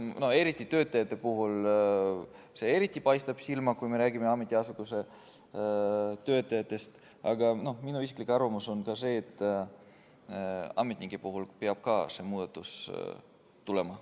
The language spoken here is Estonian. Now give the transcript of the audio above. Eriti töötajate puhul paistab see silma, kui me räägime ametiasutuse töötajatest, aga minu isiklik arvamus on see, et ka ametnike puhul peab see muudatus tulema.